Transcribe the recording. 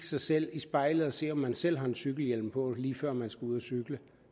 sig selv i spejlet og se om man selv har en cykelhjelm på lige før man skal ud at cykle